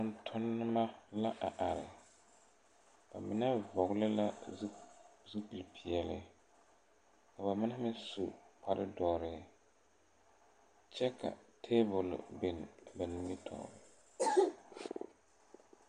Tontonnema la a are ba mine vɔgle la zupil peɛɛle ka ba mine meŋ su kpare dɔre kyɛ ka tabol bin ba nimitoore.